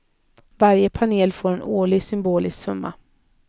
Varje panel får en årlig symbolisk summa.